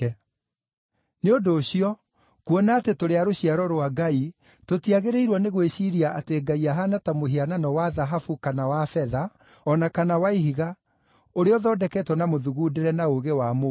“Nĩ ũndũ ũcio, kuona atĩ tũrĩ a rũciaro rwa Ngai, tũtiagĩrĩirwo nĩ gwĩciiria atĩ Ngai ahaana ta mũhianano wa thahabu kana wa betha, o na kana wa ihiga, ũrĩa ũthondeketwo na mũthugundĩre na ũũgĩ wa mũndũ.